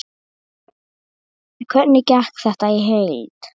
Hvernig gekk þetta í heild?